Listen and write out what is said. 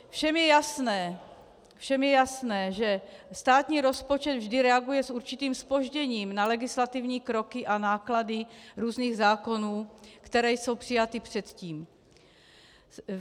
Všem je jasné, že státní rozpočet vždy reaguje s určitým zpožděním na legislativní kroky a náklady různých zákonů, které jsou přijaty předtím.